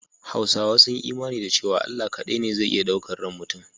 Hausawa sun yi imani da cewa Allah kaɗai ne zai iya ɗaukan ran mutum.